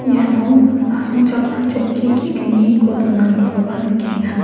iano asongchakna chokki ge·gniko donanikoba nikenga.